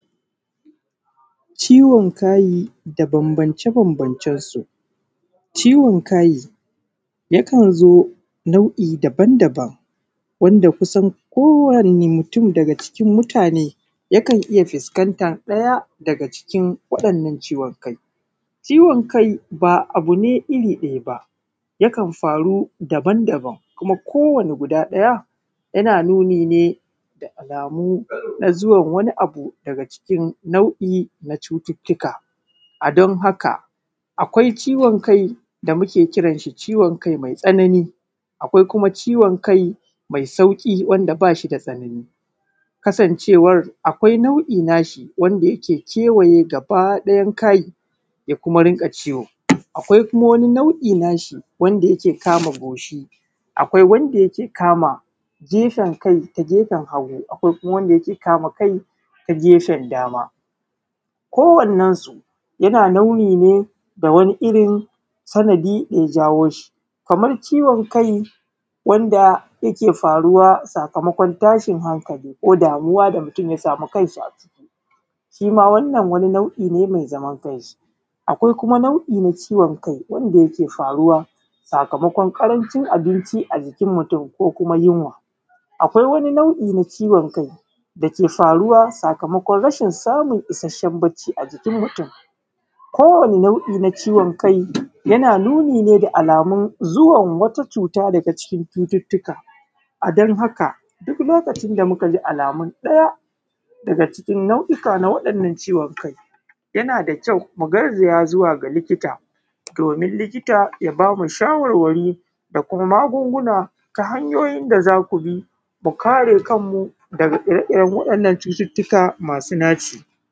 Ciwon kai da banbance-banbancen su, ciwon kai yakan zo nau’i daban-daban wanda kusan kowane mutum daga cikin mutane yakan fuskanta ɗaya daga cikin kowane ciwon kai, ciwon kai ba abu ne iri ɗaya ba yakan faru daban-daban kowane guda ɗaya yana nuni ne da alamu na zuwan wani abu daga cikin nau’i na cututtuka, a don haka akwai ciwon kai da muke kiran shi ciwon kai mai tsanani akwai kuma ciwon kai me sauki wanda bashi da sanani kasancewa akwai nau’i na shi wanda yake kewaye gaba ɗayan kai ya kuma rika ciwo akwai kuma nau’i na shi wanda yake kama goshi akwai wanda yake kama gefen kai ta gefen hagu akwai kuma wanda yake kama kai ta gefen dama, kowanan su yana launi ne ga wani irin sanadi ya jawo shi kamar ciwon kai wanda yake faruwa sakamakon tashin hankali ko damuwa da mutum ya sami kanshi a ciki shima wannan wani nau’i ne mai zaman kanshi, akwai kuma nau’in kai wanda yake faruwa sakamakon karancin abinci a jikin mutum ko kuma yunwa, akwai kuma nau’i na ciwon kai dake faruwa sakamakon rashin samun isasshen bacci a jikin mutum kowane nau’i na ciwon kai yana nuni ne da alamun zuwan wata cuta daga cikin cututtuka a don haka duk lokacin da muka ji alamun ɗaya daga cikin nau’oka na ciwon kai yana da kyau mu garzaya zuwa ga likita domin likita ya bamu shawarwari da kuma magunguna ta hanyoyin da zaku bi, mu kare kanmu daga ire-iren wannan cututtuka masu naci.